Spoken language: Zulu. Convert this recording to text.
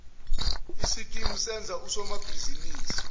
sikimu senza usomabhizinisi